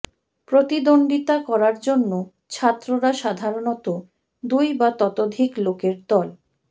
প্রতিদ্বন্দ্বিতা করার জন্য ছাত্ররা সাধারণত দুই বা ততোধিক লোকের দল